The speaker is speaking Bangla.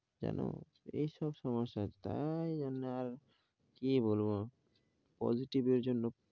জানো এই সব সমস্যা, তাই জন্য আর কি বলবো, positive এর জন্য,